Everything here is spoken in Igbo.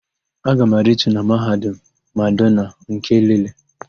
Aga m aritu na Mahadum Madonna nke Elele.